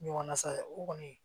Ɲɔgɔn nasa o kɔni